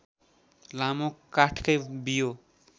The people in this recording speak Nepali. लामो काठकै बियो